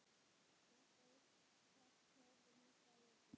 Næsta uppkast tók næsta vetur.